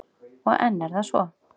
Og enn er það svo.